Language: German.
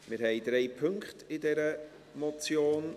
Wir haben drei Punkte in dieser Motion.